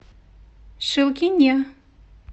шилкине